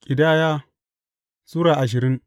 Ƙidaya Sura ashirin